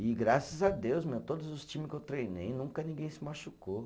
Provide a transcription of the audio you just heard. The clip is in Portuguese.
E graças a Deus, meu, todos os times que eu treinei, nunca ninguém se machucou.